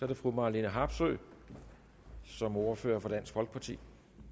det fru marlene harpsøe som ordfører for dansk folkeparti